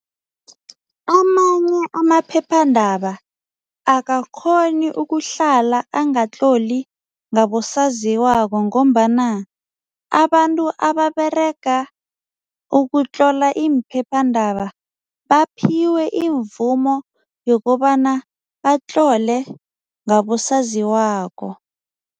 Amanye amaphephandaba akakghoni ukuhlala angatloli ngabosaziwako ngombana abantu ababerega ukutlola iimphephandaba baphiwe imvumo yokobana batlole ngabosaziwako.